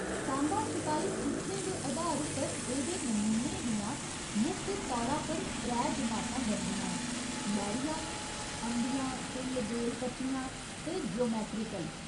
सांबा छपाई चित्रें दे अधार उप्पर एह्दे नमूनें दियां मुक्ख तौरा पर त्रै जमाता बनदियां न लैह्‌रिया, अंबियां, फुल्ल, बेल, पत्तियां ते ज्योमैट्रीकल।